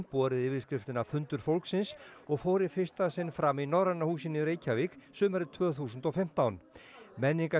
borið yfirskriftina fundur fólksins og fór í fyrsta sinn fram í Norræna húsinu í Reykjavík sumarið tvö þúsund og fimmtán